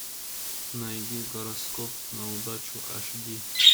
найди гороскоп на удачу аш ди